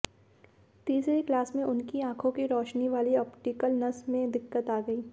तीसरी क्लास में उनकी आंखों की रोशनी वाली ऑप्टिकल नस में दिक्कत आ गई